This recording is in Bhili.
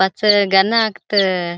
पाछ गन अकत.